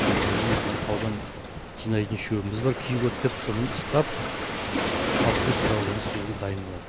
өзіміздің мына таудан жинайтын шөбіміз бар кегот деп сонымен ыстап халықтың сұрауы бойынша сол жерде дайындалады